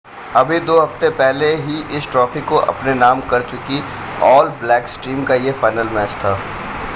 अभी दो हफ़्ते पहले ही इस ट्रॉफ़ी को अपने नाम कर चुकी ऑल ब्लैक्स टीम का यह फ़ाइनल मैच था